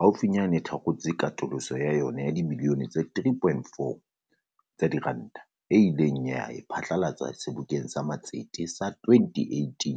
haufi nyane e thakgotse katoloso ya yona ya dibilione tse 3.4 tsa diranta, eo e ileng ya e pha tlalatsa Sebokeng sa Matsete sa 2018.